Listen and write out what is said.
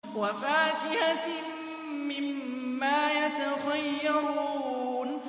وَفَاكِهَةٍ مِّمَّا يَتَخَيَّرُونَ